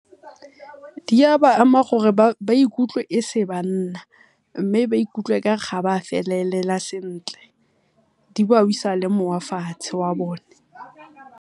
Di a ba ama gore ba ikutlwe e se banna, mme ba ikutlwe okare ha ba felelela sentle di ba le moya fatshe wa bone.